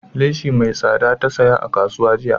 Leshi mai tsada ta saya a kasuwa jiya